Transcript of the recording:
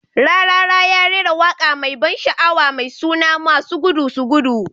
"Rarara ya rera waka mai ban sha'awa mai suna "masu gudu su gudu".